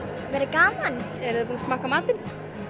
gaman eruð þið búnar að smakka matinn